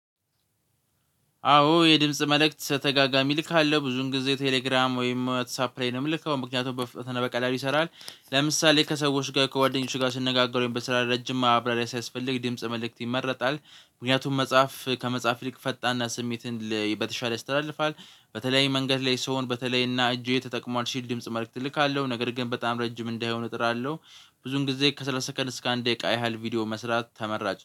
አዎ የድምጽ መልእክት በተደጋጋሚ እልካለሁ ብዙን ጊዜ ቴሌግራም ወይም ዋትሳፕ ላይ ነው የምልከው ምክንያቱም በፍጥነት እና በቀላል ይሰራል። ለምሳሌ ከሰዎች ጋር ከጓደኞች ጋር ስነጋገር በስራ ረጅም ማብራሪያ ሲያስፈልግ የድምጽ መልእክት ይመረጣል። ምክንያቱም መጽሐፍ ከመጻፍ ሊቅ ፈጣንና ስሜትን በተሻለ ያስተላልፋል። በተለይ መንገድ ላይ ሰውን በተለይ እና እጄ ተጠቅሟል ሲል ድምጽ መልእክት እልካለሁ ነገር ግን በጣም ረጅም እንዳይሆን እጥራለሁ። ብዙን ጊዜ ከሠላሳ ሰከንድ እስከ አንድ ደቂቃ ያህል ቪዲዮ መስራት ተመራጭ